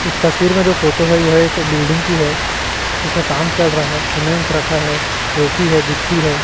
इस तस्वीर में जो फोटो है यह एक बिल्डिंग की है जिसमें काम चल रहा है सीमेंट रखा है रेती है गिट्टी है।